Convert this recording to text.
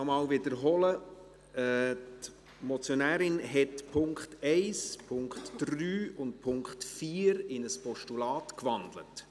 Ich wiederhole: Die Motionärin hat die Punkte 1, 3 und 4 in ein Postulat gewandelt.